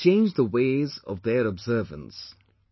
It has changed the ways of their observance